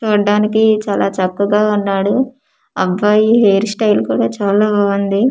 చూడ్డానికి చాలా చక్కగా ఉన్నాడు అబ్బాయి హెయిర్ స్టైల్ కూడా చాలా బాగుంది.